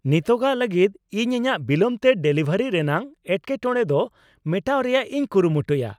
ᱱᱤᱛᱚᱜᱟᱜ ᱞᱟᱜᱤᱫ ᱤᱧ ᱤᱧᱟᱹᱜ ᱵᱤᱞᱚᱢ ᱛᱮ ᱰᱮᱞᱤᱵᱷᱟᱨᱤ ᱨᱮᱱᱟᱜ ᱮᱴᱠᱮᱴᱚᱬᱮ ᱫᱚ ᱢᱮᱴᱟᱣ ᱨᱮᱭᱟᱜ ᱤᱧ ᱠᱩᱨᱩᱢᱩᱴᱩᱭᱟ ᱾